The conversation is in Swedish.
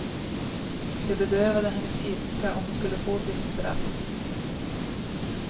Det bedövade hennes ilska, att hon skulle få sitt straff.